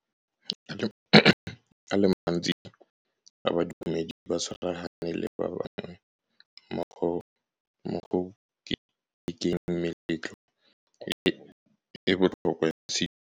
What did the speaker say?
a le mantsi a badumedi ba tshwaragane le ba bangwe mo go ketekeng meletlo e e botlhokwa ya sedumedi.